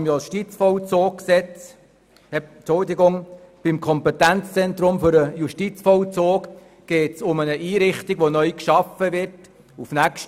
Beim Kompetenzzentrum für den Justizvollzug geht es um eine Einrichtung, die 2018 in Freiburg neu geschaffen werden soll.